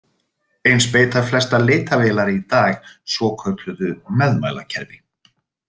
Eins beita flestar leitarvélar í dag svokölluðu meðmælakerfi.